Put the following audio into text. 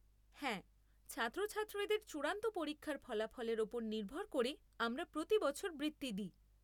হ্যাঁ, ছাত্রছাত্রীদের চূড়ান্ত পরীক্ষার ফলাফলের উপর নির্ভর করে আমরা প্রতি বছর বৃত্তি দিই।